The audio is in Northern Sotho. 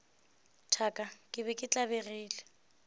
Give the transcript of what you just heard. thaka ke be ke tlabegile